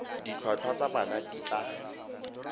ditlhwatlhwa tsa bana di tla